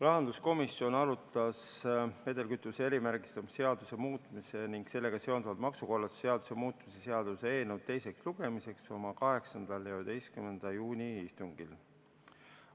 Rahanduskomisjon arutas vedelkütuse erimärgistamise seaduse muutmise ning sellega seonduvalt maksukorralduse seaduse muutmise seaduse eelnõu teise lugemise ettevalmistamist oma 8. ja 11. juuni istungil.